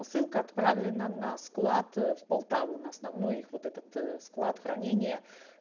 посылка отправлена на склад в полтаву на основной их вот этот склад хранения